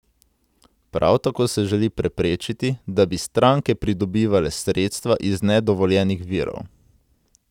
Prav tako se želi preprečiti, da bi stranke pridobivale sredstva iz nedovoljenih virov.